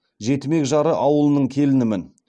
жетімек жары ауылының келінімін